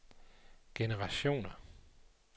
generationer